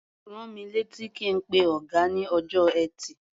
Rán mi létí kí n pe ọ̀gá ní ọjọ́ Ẹtì.